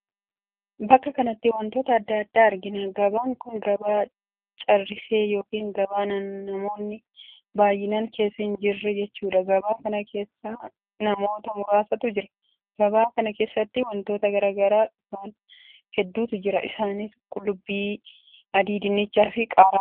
Bakka kanatti wantoota addaa addaa argina. gabaan kun gabaa carrisee ykn gabaa namoonni baay'inaan keessa hin jirre jechuudha. gabaa kan keessa namoota muraasatu jira. gabaa kana keessatti wantoota gurguraaf dhufan hedduutu jira. isaanis; qullubbii adii, dinnicha, qaaraa, qullubbii diimaa, hundee diimaa, buqqee, kaarooti fi kan kana fakkaatantu jiraam!